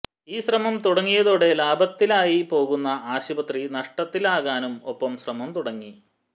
ഈ ശ്രമം തുടങ്ങിയതോടെ ലാഭത്തിലായി പോകുന്ന ആശുപത്രി നഷ്ടത്തിലാക്കാനും ഒപ്പം ശ്രമം തുടങ്ങി